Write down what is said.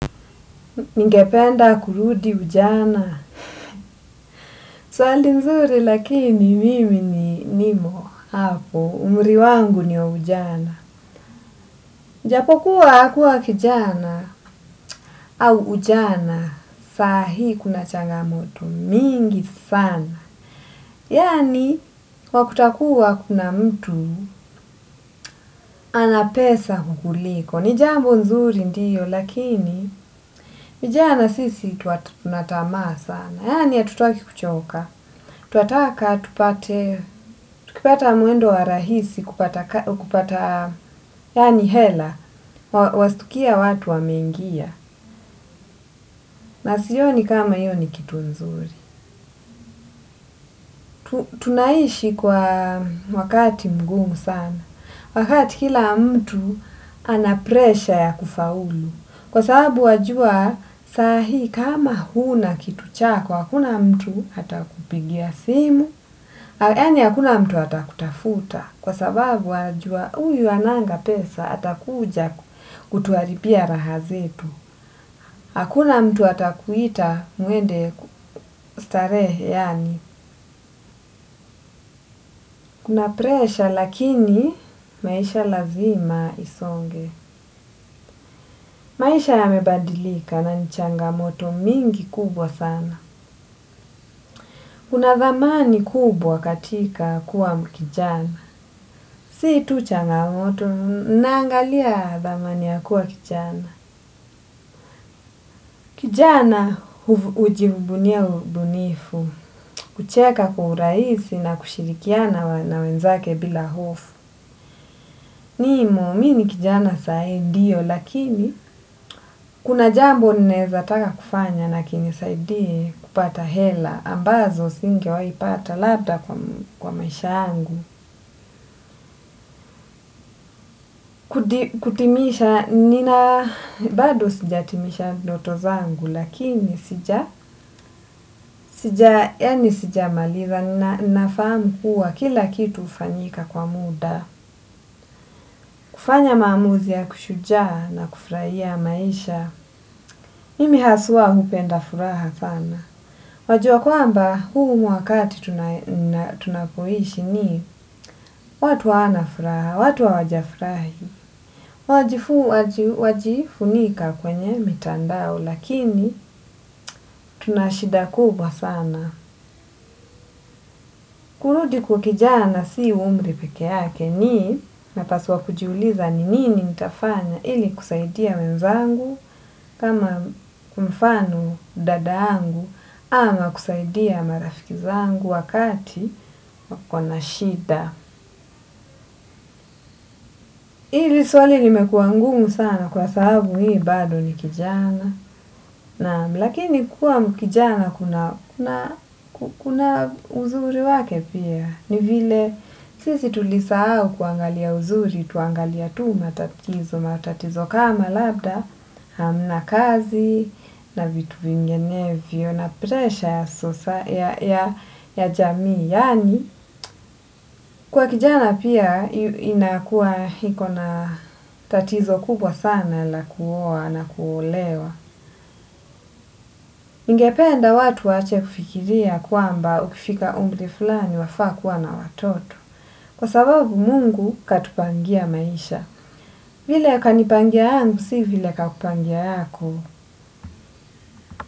Ningependa kurudi ujana. Swali nzuri lakini mimi ni nimo hapo. Umri wangu ni wa ujana. Japokuwa kuwa kijana au ujana. Sahi kuna changamoto mingi sana. Yani wakuta kuwa kuna mtu anapesa kukuliko. Ni jambo nzuri ndiyo lakini. Vijana sisi tuatuna tamaw sana. Yaani ya hatutaki kuchoka. Twataka tupate, tukipata mwendo wa rahisi kupata, yaani hela, wasitukia watu wa menigia. Na siioni kama hiyo ni kitu nzuri. Tunaishi kwa wakati mgumu sana. Wakati kila mtu anapresha ya kufaulu. Kwa sababu wajua sahii kama huna kitu chako, hakuna mtu atakupigia simu. Yaani hakuna mtu atakutafuta kwa sababu wajua uyu hananga pesa atakuja kutuharibia raha zetu. Hakuna mtu ata kuita muende starehe yani. Kuna presha lakini maisha lazima isonge. Maisha yamebadilika na nichanga moto mingi kubwa sana. Kuna dhamani kubwa katika kuwa mkijana. Si tucha ngamoto, naangalia dhamani ya kuwa kijana. Kijana hujivunia ubunifu, kucheka kwa urahisi na kushirikiana na wenzake bila hofu. Nimo mini kijana sahi ndiyo lakini kuna jambo ninaeza taka kufanya nakinisaidie kupata hela ambazo singe waipata labda kwa maisha yangu. Kutimisha nina bado sijatimisha ndoto zangu lakini sija, sija, yani sija maliza na nafahamu kuwa kila kitu hufanyika kwa muda. Kufanya maamuzi ya kishuja na kufrahia maisha. Mimi haswa hupenda furaha sana. Wajua kwamba huu ni wakati tunapoishi ni watu hawana furaha, watu hawajafurahi. Wajifunika kwenye mitandao lakini tunashida kubwa sana. Kurudi kuwa kijana si umri peke yake nii na paswa kujiuliza ni nini nitafanya ili kusaidia wenzangu kama kwa mfano dada yangu ama kusaidia marafikizangu wakati wakona shida. Ili swali limekua ngumu sana kwa sababu mimi bado ni kijana, naam, lakini kuwa kijana kuna uzuri wake pia, ni vile sisi tulisahau kuangalia uzuri, tuangalia tuu matatizo, matatizo kama labda, na kazi, na vitu vingenevyo, na presha ya jamii, yaani, kuwa kijana pia inakuwa hiko na tatizo kubwa sana la kuwa na kuolewa. Ningependa watu waache kufikiria kwamba ukifika umri fulani wafaa kuwa na watoto. Kwa sababu mungu katupangia maisha. Vile kanipangia yangu, si vile kakupangia yako.